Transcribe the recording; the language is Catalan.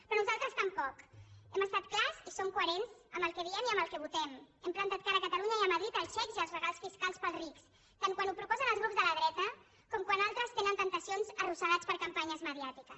però nosaltres tampoc hem estat clars i som coherents amb el que diem i amb el que votem hem plantat cara a catalunya i a madrid als xecs i als regals fiscals per als rics tant quan ho proposen els grups de la dreta com quan altres en tenen temptacions arrossegats per campanyes mediàtiques